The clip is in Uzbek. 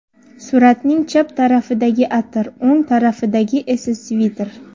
Suratning chap tarafidagi atir, o‘ng tarafidagi esa sviter”.